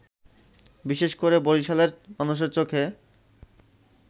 বিশেষ করে বরিশালের মানুষের চোখে